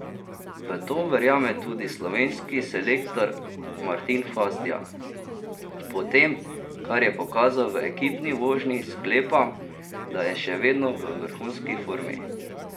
V to verjame tudi slovenski selektor Martin Hvastija: 'Po tem, kar je pokazal v ekipni vožnji, sklepam, da je še vedno v vrhunski formi.